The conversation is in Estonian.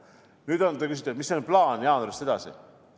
Nüüd, te küsite, mis plaan on jaanuarist edasi.